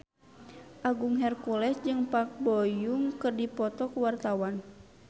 Agung Hercules jeung Park Bo Yung keur dipoto ku wartawan